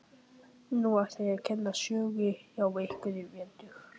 Nei, ég ætla að kenna sögu hjá ykkur í vetur.